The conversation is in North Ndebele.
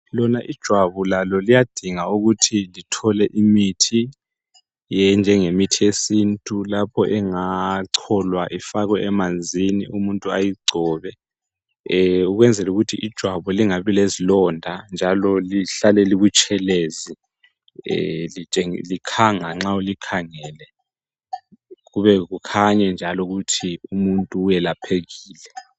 Lona ijwabu lalo liyadinga ukuthi lithole imithi enjengemithi yesintu nje lapho engacholwa ifakwe emanzini umuntu ayigcobe ukwenzela ukuthi ijwabu lingabi lezilonda njalo lihlale libutshelezi likhanga nxa ulikhangele, kukhanye ukuthi umuntu uyelaphekile.